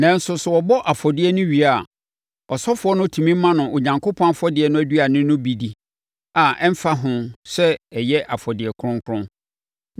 Nanso sɛ wɔbɔ afɔdeɛ no wie a, ɔsɔfoɔ no tumi ma no Onyankopɔn afɔdeɛ no aduane no bi di a ɛmfa ho sɛ ɛyɛ afɔdeɛ kronkron.